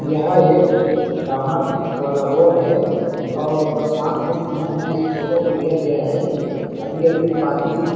यह एक डामर वाला रोड है और बरसात के समय में इस फोटो को लिया गया है अभी-अभी पानी--